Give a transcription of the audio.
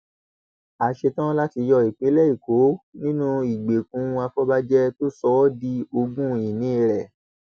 a ṣetán láti yọ ìpínlẹ èkó nínú ìgbèkùn àfọbàjẹ tó sọ ọ di ogún ìní rẹ